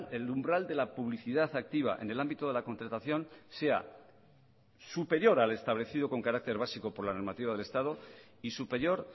el umbral de la publicidad activa en el ámbito de la contratación sea superior al establecido con carácter básico por la normativa del estado y superior